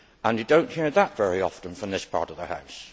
You do not hear that very often from this part of the House.